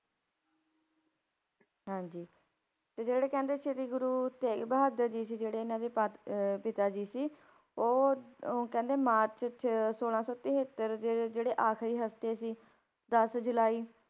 ਹਾਂਜੀ ਤੇ ਜਿਹੜੇ ਕਹਿੰਦੇ ਸ੍ਰੀ ਗੁਰੂ ਤੇਗ ਬਹਾਦਰ ਜੀ ਸੀ ਜਿਹੜੇ ਇਹਨਾਂ ਦੇ ਪਤ~ ਅਹ ਪਿਤਾ ਜੀ ਸੀ, ਉਹ ਉਹ ਕਹਿੰਦੇ ਮਾਰਚ 'ਚ ਛੋਲਾਂ ਸੌ ਤਹੇਤਰ ਦੇ ਜਿਹੜੇ ਆਖ਼ਰੀ ਹਫ਼ਤੇ ਸੀ, ਦਸ ਜੁਲਾਈ